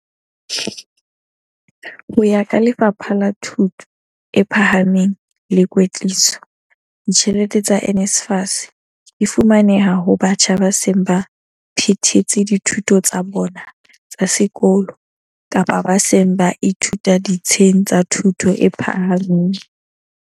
Ho ya ka Lefapha la Thuto e Phahameng le Kwetliso, ditjhelete tsa NSFAS di fumaneha ho batjha ba seng ba phethetse dithuto tsa bona tsa sekolo kapa ba seng ba ithuta ditsheng tsa thuto e phahameng.